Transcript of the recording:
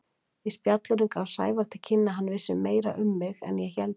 Í spjallinu gaf Sævar til kynna að hann vissi meira um mig en ég héldi.